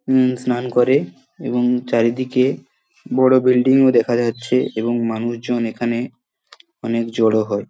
উম স্নান করে এবং চারিদিকে বড় বিল্ডিংও দেখা যাচ্ছে এবং মানুষ জন এখানে অনেক জড়ো হয়।